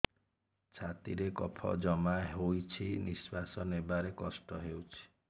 ଛାତିରେ କଫ ଜମା ହୋଇଛି ନିଶ୍ୱାସ ନେବାରେ କଷ୍ଟ ହେଉଛି